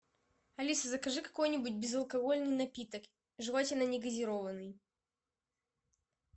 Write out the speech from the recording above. алиса закажи какой нибудь безалкогольный напиток желательно негазированный